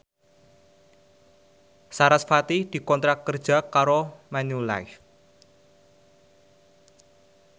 sarasvati dikontrak kerja karo Manulife